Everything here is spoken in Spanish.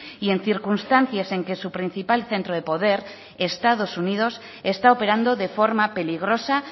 y en circunstancias en que su principal centro de poder estados unidos está operando de forma peligrosa